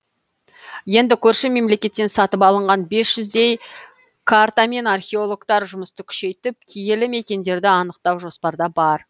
енді көрші мемлекеттен сатып алынған бес жүздей картамен археологтар жұмысты күшейтіп киелі мекендерді анықтау жоспарда бар